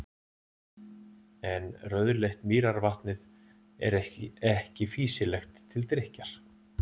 En rauðleitt mýrarvatnið er ekki fýsilegt til drykkjar.